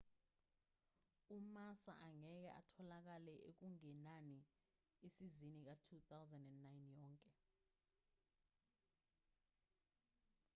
umassa angeke atholakale okungenani isizini ka-2009 yonke